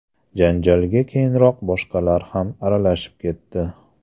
Janjalga keyinroq boshqalar ham aralashib ketdi.